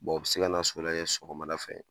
u bi se ka na so lajɛ sɔgɔmada fɛ